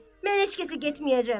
Mən heç kəsə getməyəcəm.